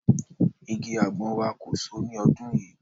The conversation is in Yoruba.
Igi àgbọn wa kò so ní ọdún yìí